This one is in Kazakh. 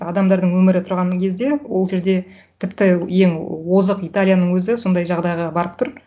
адамдардың өмірі тұрған кезде ол жерде тіпті ең озық италияның өзі сондай жағдайға барып тұр